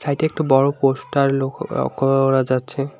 সাইডে একটা বড় পোস্টার লক্ষ্য ক করা যাচ্ছে।